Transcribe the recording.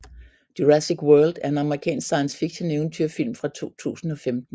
Jurassic World er en amerikansk science fiction eventyrfilm fra 2015